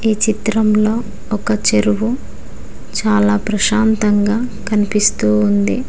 ఈ చిత్రంలో ఒక చెరువు చాలా ప్రశాంతంగా కనిపిస్తూ ఉంది.